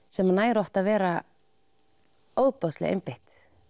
sem nær að vera ofboðslega einbeitt